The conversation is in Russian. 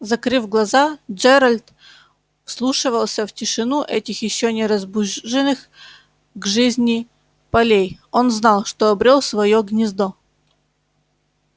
закрыв глаза джералд вслушивался в тишину этих ещё не разбуженных к жизни полей он знал что обрёл своё гнездо